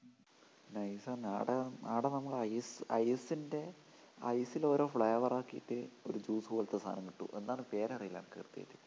nice ആ ആടെ നമ്മടെ ice ൻ്റെ ice ലോരോ flower ആക്കീട്ട് ഒരു juice പോലത്തെ സാധനം കിട്ടുംഎന്താണ് പേരറിയില്ല കൃത്യമായിട്ട്